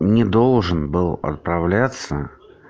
не должен был отправляться